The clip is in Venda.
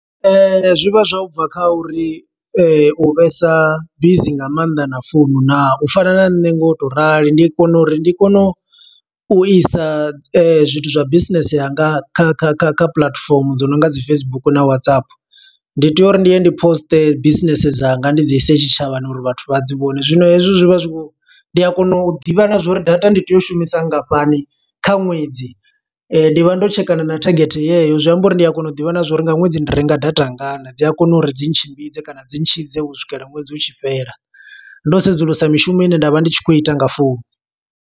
Zwi vha zwa u bva kha uri u vhesa bizi nga maanḓa na founu naa. U fana na nṋe ngo to rali, ndi kone uri ndi kone u isa zwithu zwa business yanga kha kha kha kha puḽatifomo dzo no nga dzi Facebook na Whatsapp. Ndi tea uri ndi ye ndi poste business dzanga ndi dzi ise tshitshavhani uri vhathu vha dzi vhone. Zwino hezwo zwi vha zwi khou. Ndi kona u ḓivha na zwo uri data ndi tea u shumisa ngafhani kha ṅwedzi. Ndi vha ndo tshekana na thagethe yeyo, zwi amba uri ndi a kona u ḓivha na zwo uri nga ṅwedzi ndi renga data ngana. Dzi a kona uri dzi tshimbidze kana dzi tshidze u swikela ṅwedzi utshi fhela. Ndo sedzulusa mishumo ine nda vha ndi tshi khou ita nga founu.